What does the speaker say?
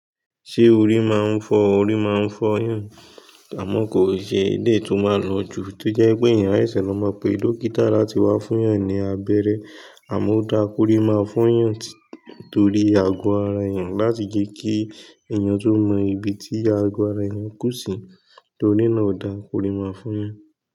Ṣé orí máa ń fọ́? Orí máa ń fọ́yàn, àmọ́ kò ṣe dé tí ó máa lọ jù tí ó jẹ́ pé èèyàn áìṣẹ̀ lọmọ pé dọ́kítà láti wá fún yàn ní abẹ́rẹ́. Àmọ́ ó dáa kó ríi máa fún yàn torí àgọ́ ara èèyàn láti jí kí èèyàn tún mọ ibi tí àgọ́ ara èèyàn ń kù sí torí náà ó dáa kó ríi máa fún yàn.